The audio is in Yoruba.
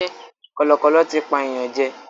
Kọ̀lọ̀kọ̀lọ̀ tí pa èèyàn jẹ.